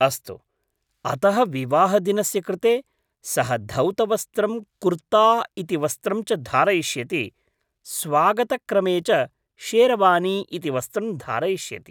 अस्तु, अतः विवाहदिनस्य कृते सः धौतवस्त्रं कुर्ता इति वस्त्रं च धारयिष्यति स्वागतक्रमे च शेरवानी इति वस्त्रं धारयिष्यति।